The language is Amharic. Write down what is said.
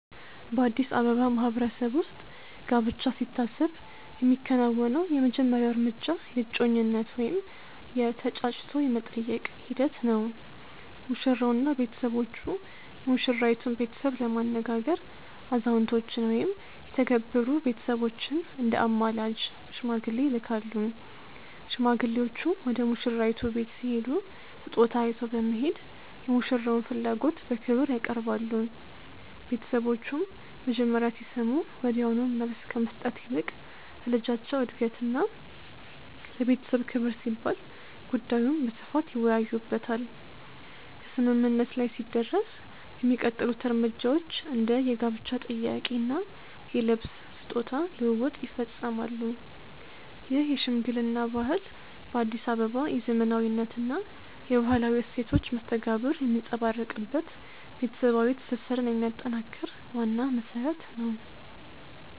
በአዲስ አበባ ማህበረሰብ ውስጥ ጋብቻ ሲታሰብ የሚከናወነው የመጀመሪያው እርምጃ የእጮኝነት ወይም የ"ተጫጭቶ የመጠየቅ" ሂደት ነው። ሙሽራውና ቤተሰቦቹ የሙሽራይቱን ቤተሰብ ለማነጋገር አዛውንቶችን ወይም የተከበሩ ቤተሰቦችን እንደ አማላጅ (ሽማግሌ) ይልካሉ። ሽማግሌዎቹ ወደ ሙሽራይቱ ቤት ሲሄዱ ስጦታ ይዘው በመሄድ የሙሽራውን ፍላጎት በክብር ያቀርባሉ። ቤተሰቦቹም መጀመሪያ ሲሰሙ ወዲያውኑ መልስ ከመስጠት ይልቅ ለልጃቸው እድገትና ለቤተሰብ ክብር ሲባል ጉዳዩን በስፋት ይወያዩበታል። ከስምምነት ላይ ሲደረስ የሚቀጥሉት እርምጃዎች እንደ የጋብቻ ጥያቄ እና የልብስ/ስጦታ ልውውጥ ይፈጸማሉ። ይህ የሽምግልና ባህል በአዲስ አበባ የዘመናዊነትና የባህላዊ እሴቶች መስተጋብር የሚንጸባረቅበት፣ ቤተሰባዊ ትስስርን የሚያጠናክር ዋና መሰረት ነው።